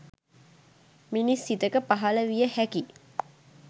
මිනිස් සිතක පහළ විය හැකි